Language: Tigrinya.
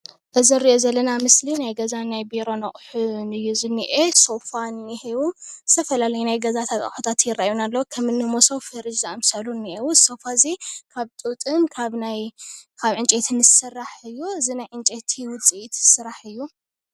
እዚ እንሪኦ ዘለና ምስሊ ናይ ገዛን ቢሮን አቁሒ እዪ ዝኔሆ ። ሶፋ እኒሀው፣ ዝተፈላለዩ ናይ ገዛ ኣቁሑት ይርኤይና ኣለው። ከምኒ ሞሶብ፣ ፍርጅ ዝኣመሰሉ እኒሀው እኒአው ።እዚ ሶፋ እዙይ ካብ ጡጥን ዕንጨይትን ሰራሕ እዩ። ዕንጨይቲ ውፅኢት ዝስራሕ እዩ።